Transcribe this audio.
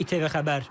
ATV Xəbər.